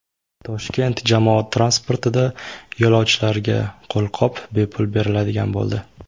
Toshkent jamoat transportida yo‘lovchilarga qo‘lqop bepul beriladigan bo‘ldi.